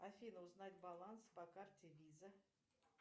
афина узнать баланс по карте виза